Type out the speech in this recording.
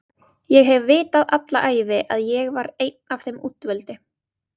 Ég hef vitað alla ævi að ég var einn af þeim útvöldu